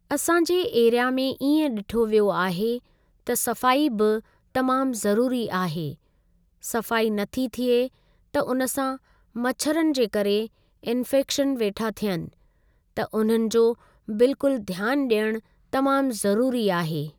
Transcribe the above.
असां जे एरिया में इएं ॾिठो वियो आहे त सफ़ाई बि तमाम ज़रूरी आहे ,सफ़ाई नथी थिए त उन सां मछरनि जे करे इन्फेक्शन वेठा थियनि त उन्हनि जो बिल्कुल ध्यानु ॾियण तमामु ज़रूरी आहे।